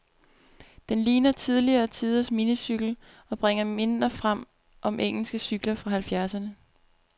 Den ligner tidligere tiders minicykel, og bringer minder frem om engelske cykler fra halvfjerdserne.